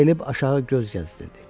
Əyilib aşağı göz gəzdirirdi.